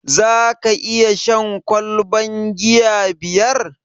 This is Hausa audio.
Zaka iya shan ƙwalban giya biyar?